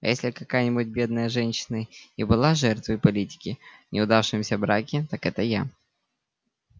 а если какая-нибудь бедная женщина и была жертвой политики в неудавшемся браке так это я